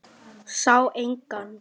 Sá engan.